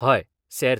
हय, सेर्त.